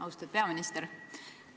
Austatud peaminister!